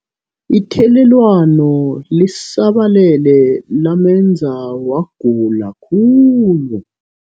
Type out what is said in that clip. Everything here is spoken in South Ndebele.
Ithelelwano lisabalele lamenza wagula khulu.